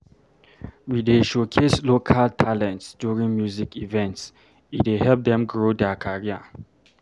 We dey showcase local talents during music events, e dey help them grow their career.